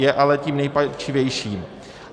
Je ale tím nejpalčivějším.